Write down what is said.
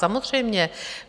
Samozřejmě.